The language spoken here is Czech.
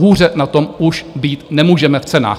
Hůře na tom už být nemůžeme v cenách.